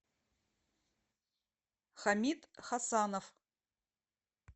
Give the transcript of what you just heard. хамит хасанов